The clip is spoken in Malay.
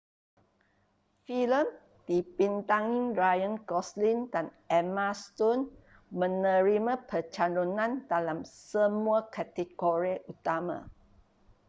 filem dibintangi ryan gosling dan emma stone menerima pencalonan dalam semua kategori utama